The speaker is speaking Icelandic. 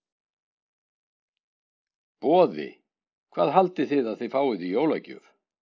Boði: Hvað haldið þið að þið fáið í jólagjöf?